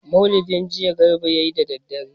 Maulidi jiya Garba ya yi da dare.